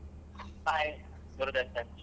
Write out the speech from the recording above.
Hai Gurudarshan.